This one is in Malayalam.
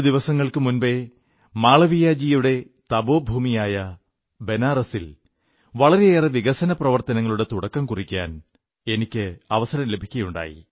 രണ്ടു ദിവസങ്ങൾക്കു മുമ്പേ മാളവിയജിയുടെ തപോഭൂമിയായ ബനാറസ്സിൽ വളരെയേറെ വികസനപ്രവർത്തനങ്ങളുടെ തുടക്കം കുറിക്കാൻ എനിക്ക് അവസരം ലഭിക്കയുണ്ടായി